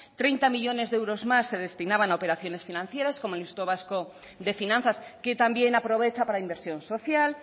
treinta millónes de euros más se destinaban a operaciones financieras como el instituto vasco de finanzas que también aprovecha para inversión social